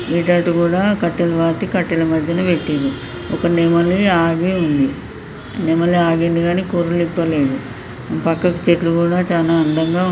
కట్టలు పాతి కట్టల మధ్య పెట్టిండ్లు ఒక నెమలి ఆగి ఉంది. నెమలి ఆగింది కానీ కురులు ఇప్పలేదు. పక్కకు చెట్లు కూడా చానా అందంగా.